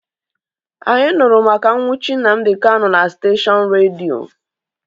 Anyị nụrụ maka nnwuchi Nnamdi Kanu na steshọnụ redio